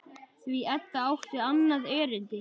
Því Edda átti annað erindi.